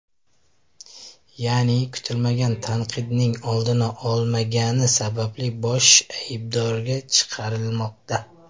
Ya’ni, kutilmagan tanqidning oldini ololmagani sababli bosh aybdorga chiqarilmoqda.